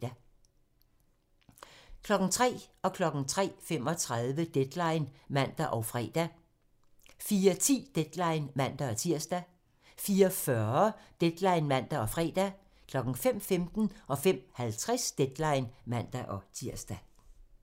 03:00: Deadline (man og fre) 03:35: Deadline (man og fre) 04:10: Deadline (man-tir) 04:40: Deadline (man og fre) 05:15: Deadline (man-tir) 05:50: Deadline (man-tir)